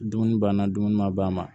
Dumuni banna dumuni ma ban